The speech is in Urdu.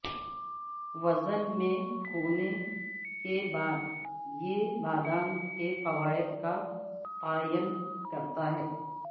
وزن میں کھونے کے بعد یہ بادام کے فوائد کا تعین کرتا ہے